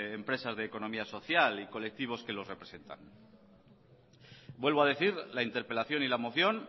empresas de economía social y colectivos que los representan vuelvo a decir la interpelación y la moción